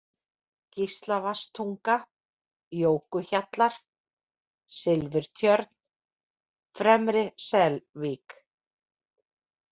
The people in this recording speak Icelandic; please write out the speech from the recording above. Gíslavatnstunga, Jókuhjallar, Silfurtjörn, Fremri-Selvík